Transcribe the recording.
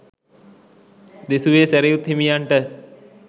දෙසුවේ සැරියුත් හිමියන්ට